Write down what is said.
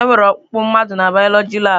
Enwere ọkpụkpụ mmadụ n'bioloji labụ.